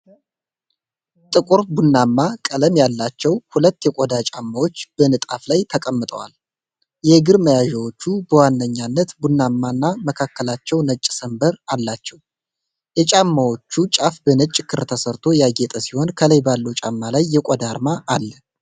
ጥቁር ቡናማ ቀለም ያላቸው ሁለት የቆዳ ጫማዎች በንጣፍ ላይ ተቀምጠዋል። የእግር መያዣዎቹ በዋነኛነት ቡናማና መካከላቸው ነጭ ሰንበር አላቸው። የጫማዎቹ ጫፍ በነጭ ክር ተሰፍቶ ያጌጠ ሲሆን፣ ከላይ ባለው ጫማ ላይ የቆዳ አርማ አለ።